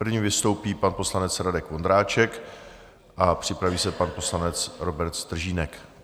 První vystoupí pan poslanec Radek Vondráček a připraví se pan poslanec Robert Stržínek.